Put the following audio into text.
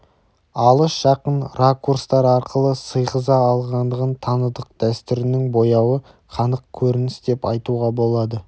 алыс-жақын ракурстар арқылы сыйғыза алғандығын таныдық дәстүрінің бояуы қанық көрініс деп айтуға болады